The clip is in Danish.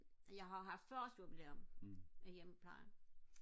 jeg har haft fyrre års jubilæum i hjemmeplejen